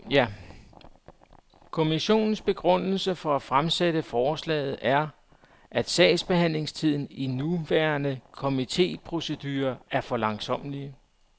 Kommissionens begrundelse for at fremsætte forslaget er, at sagsbehandlingstiden i de nuværende komiteprocedurer er for langsommelig.